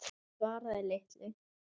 Hún svaraði litlu.